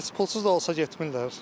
Amma heç pulsuz da olsa getmirlər.